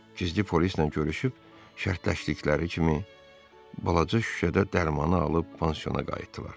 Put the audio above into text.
Gizli polislə görüşüb, şərtləşdikləri kimi balaca şüşədə dərmanı alıb pansiona qayıtdılar.